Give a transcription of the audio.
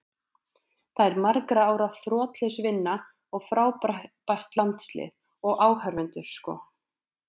Þetta er margra ára þrotlaus vinna og frábært landslið, og áhorfendur sko.